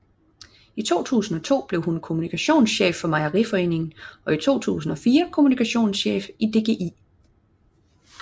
I 2002 blev hun kommunikationschef i Mejeriforeningen og i 2004 kommunikationschef i DGI